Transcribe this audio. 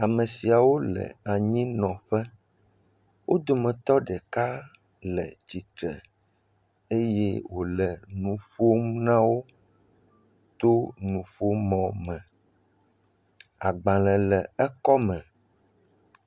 Ame siawo le anyinɔƒe. Wo dometɔ ɖeka le tsitre eye wòle nu ƒom na wo to nuƒomɔme. Agbalẽ le ekɔme.